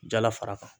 Jala fara kan